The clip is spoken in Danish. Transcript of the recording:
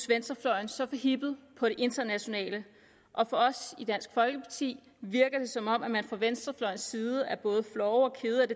venstrefløjen så forhippede på det internationale og på os i dansk folkeparti virker det som om man fra venstrefløjens side er både flove og kede af